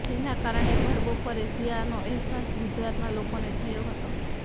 જેના કારણે ભરબપોરે શિયાળાનો અહેસાસ ગુજરાતના લોકોને થયો હતો